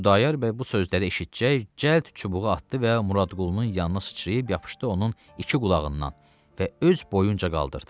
Xudayar bəy bu sözləri eşitcək cəld çubuğu atdı və Muradqulunun yanına sıçrayıb yapışdı onun iki qulağından və öz boyunca qaldırdı.